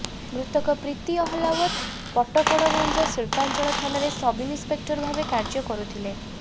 ମୃତକ ପ୍ରୀତି ଅହଲାଓ୍ବତ ପଟପଡଗଞ୍ଜ ଶିଳ୍ପାଞ୍ଚଳ ଥାନାରେ ସବ୍ ଇନ୍ସପେକ୍ଟର ଭାବେ କାର୍ଯ୍ୟ କରୁଥିଲେ